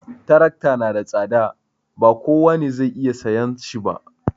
Trakta na da tsada, ba kowa ne zai iya sayan shi ba